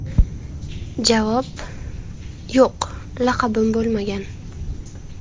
Javob: Yo‘q, laqabim bo‘lmagan.